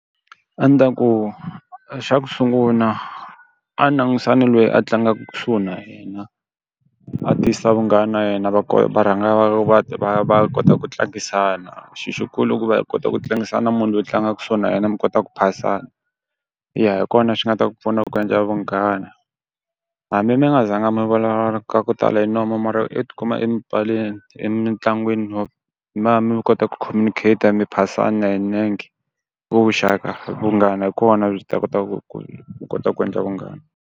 A ni ta ku xa ku sungula a ni langutisa na loyi a tlangaka kusuhi na yena, a tisa vunghana na yena va va rhanga va va va va va kota ku tlangisana. Xilo xi kulu i ku va hi kota ku tlangisa na munhu loyi tlangaka kusuhi na yena mi kota ku phasana, ya hi kona xi nga ta ku pfuna ku endla vunghana. Hambi mi nga zanga mi vulavula ka ku tala hi nomu mara u ti kuma etipaleni emintlangwini mi va mi kota ku communicate-a mi phasana hi nenge, ku vuxaka vunghana hi kona byi ta kota ku ku kota ku endla vunghana.